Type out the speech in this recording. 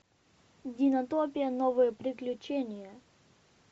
динотопия новые приключения